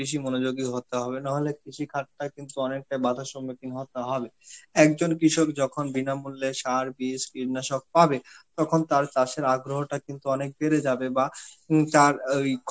বেশি মনোযোগী হতে হবে নাহলে কৃষিখাতটা কিন্তু অনেকটা বাধার সম্মুখীন হতে হবে. একজন কৃষক যখন বিনামূল্যে সার, বীজ, কীটনাশক পাবে তখন তার চাষের আগ্রহ তা কিন্তু অনেক বেড়ে যাবে বা হম তার ওই